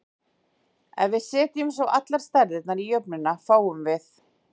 Ef við setjum svo allar stærðirnar í jöfnuna, fáum við